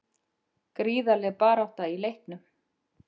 Gríðarleg barátta í leiknum